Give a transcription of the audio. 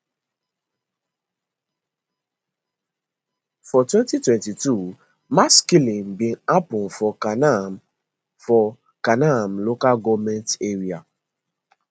for 2022 mass killing bin happun for kanam for kanam local goment area